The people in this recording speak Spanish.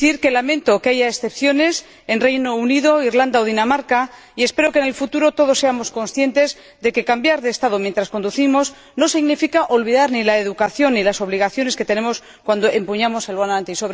Lamento que haya excepciones en el Reino Unido, Irlanda o Dinamarca, y espero que en el futuro todos seamos conscientes de que cambiar de Estado mientras conducimos no significa olvidar ni la educación ni las obligaciones que tenemos al volante.